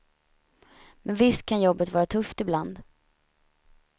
Men visst kan jobbet var tufft ibland.